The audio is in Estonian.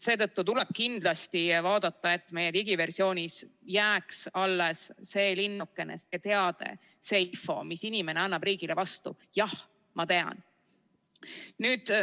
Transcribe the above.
Seetõttu tuleb kindlasti vaadata, et digiversioonis jääks alles see linnukene, see teade, see info, mille inimene annab riigile vastu: jah, ma tean.